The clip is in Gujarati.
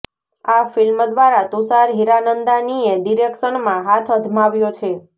આ ફિલ્મ દ્વારા તુષાર હીરાનંદાનીએ ડિરેક્શનમાં હાથ અજમાવ્યો છે